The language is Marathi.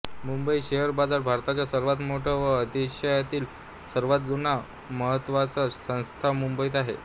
मुंबई शेअर बाजार भारताच्या सर्वांत मोठा व आशियातील सर्वांत जुना ही महत्त्वाची संस्था मुंबईत आहे